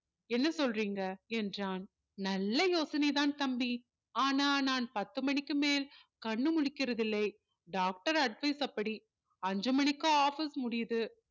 என்ன சொல்றீங்க என்றான் நல்ல யோசனை தான் தம்பி ஆனா நான் பத்து மணிக்கு மேல் கண்ணு முழிக்கிறது இல்லை doctor advice அப்படி அஞ்சு மணிக்கு முடியுது